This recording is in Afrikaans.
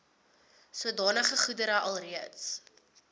sodanige goedere alreeds